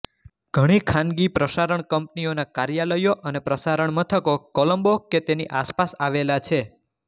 ઘણી ખાનગી પ્રસારણ કંપનીઓના કાર્યાલયો અને પ્રસારણ મથકો કોલંબો કે તેની આસપાસ આવેલા છે